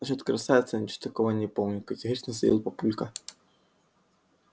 насчёт красавицы я ничего такого не помню категорично заявил папулька